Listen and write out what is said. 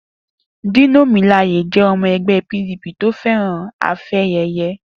Dino Melaye jẹ́ ọmọ ẹgbẹ́ PDP tó fẹ́ràn afẹ́yẹyẹ.